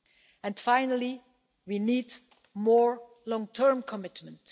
Lastly, we need more long term commitment.